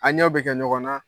A ɲɛw bɛ kɛ ɲɔgɔnna